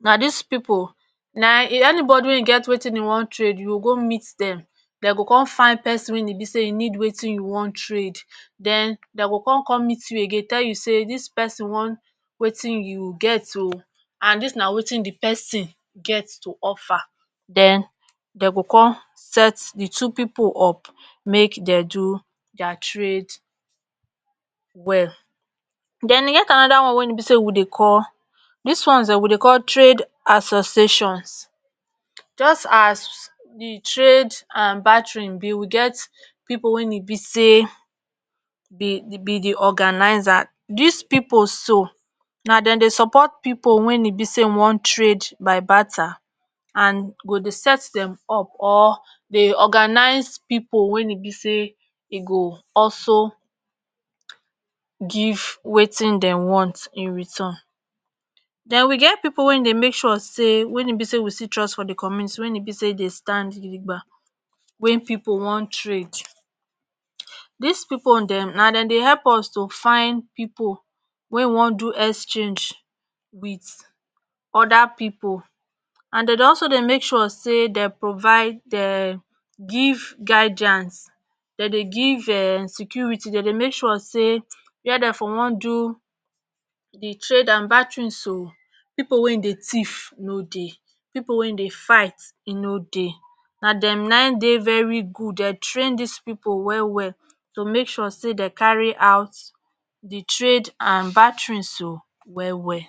na dis pipo nai eni bodi wey get watin e wan trade youo go meet dem den go con fine pesin wey e be say e need watin you wan trade den den go con meet you again tell you say dis pesin wan watin you get o aand dis na watin di pesin get tu offer den den go con set di two pipo up make den do dier trade well. den e get anoda one weyn e be say we dey call dis ones den we dey call trade associations just as di trade and baterin be wu get pipo weyn e be say be di be di organiser dis pipo so na den dey support pipo wen e be say wan trade by barter and go dey set dem up or dey organize pipo weyn e be say e go also give watin den want in return. den we get pipo wey dey make sure say wen e be say we still trust for di community wen e be say dey stand gidigba weyn pipo wan trade dis pipo dem na den dey ep us to find pipo wey wan do exchange wit oda pipo and den dey also dey make sure say den provide dem give guidiance den dey give security den dey make sure say were den for wan do di trade and baterin so pipo weyn dey thief no dey pipo weyn dey fight no dey na dem nai dey very good den train dis pipo well well to make sure say den carry out di trade and baterin so well well